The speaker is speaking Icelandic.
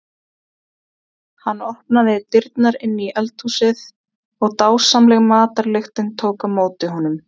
Hann opnaði dyrnar inn í eldhúsið og dásamleg matarlyktin tók á móti honum.